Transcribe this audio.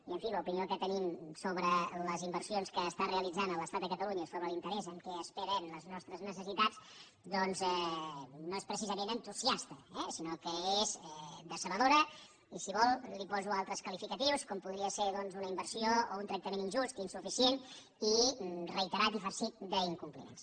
i en fi l’opinió que tenim sobre les inversions que realitza l’estat a catalunya i sobre l’interès amb què es pren les nostres necessitats no és precisament entusiasta eh sinó que és decebedora i si vol li poso altres qualificatius com podria ser una inversió o un tractament injust insuficient i reiterat i farcit d’incompliments